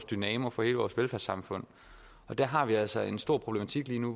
dynamoen for hele vores velfærdssamfund der har vi altså en stor problematik lige nu